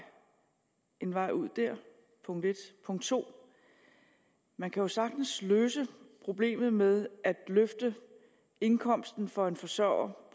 en vej ud dér punkt punkt 2 man kan jo sagtens løse problemet med at løfte indkomsten for en forsørger